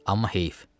Amma heyf.